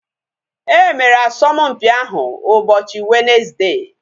Emere asọmpi ahu ụbọchị Wenezde